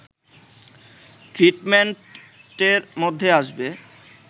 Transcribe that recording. ট্রিটমেন্টের মধ্যে আসবে